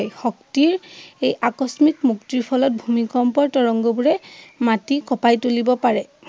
শক্তিৰ এই আকস্মিক মুক্তিৰ ফলত ভূমিকম্পৰ তৰঙ্গবোৰে মাটি কঁপাই তুলিব পাৰে।